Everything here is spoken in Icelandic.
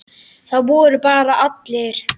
Það voru bara allir.